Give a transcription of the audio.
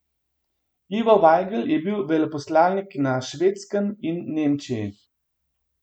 Ivo Vajgl je bil veleposlanik na Švedskem in Nemčiji.